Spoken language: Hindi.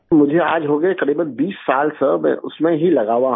मुझे आज हो गए करीबन 20 साल सर मैं उसमें ही लगा हुआ हूँ